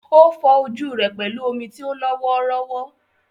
Ó fọ ojú rẹ̀ pẹ̀lú omi tí ó lọ́ wọ́ọ́rọ́wọ́.